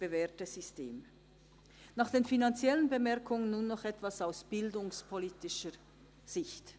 Nach den finanziellen Bemerkungen nun noch etwas aus bildungspolitischer Sicht.